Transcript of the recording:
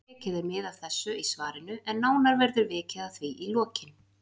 Tekið er mið af þessu í svarinu en nánar verður vikið að því í lokin.